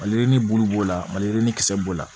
Malirin bulu b'o la maliyirini kisɛ b'o la